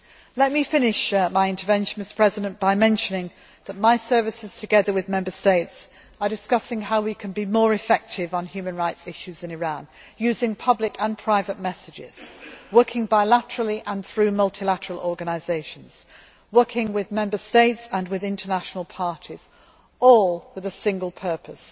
Let me finish my intervention by mentioning that my services, together with Member States, are discussing how we can be more effective on human rights issues in Iran, using public and private messages, working bilaterally and through multilateral organisations, working with Member States and with international parties, all with a single purpose